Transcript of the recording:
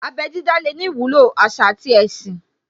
Abẹ́ dídá lè ní ìwúlò àṣà àti ẹ̀sìn